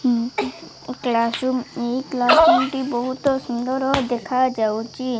Class room ଏଇ class ରୁମଟି ବହୁତ ସୁନ୍ଦର ଦେଖାଯାଉଅଛି।